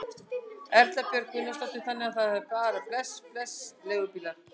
Erla Björg Gunnarsdóttir: Þannig að það er bara bless bless leigubílar?